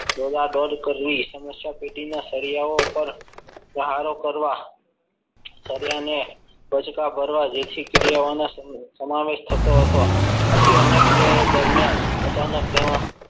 દોડાદોડ કરવી સમસ્યા પેટી ના સળિયા ઉપર પ્રહારો કરવા સળિયાને બચકા ભરવા જેથી સમાવેશ થતો હતો. આથી અન્ય ક્રિયાઓ દરમિયાન અચાનક તેમાં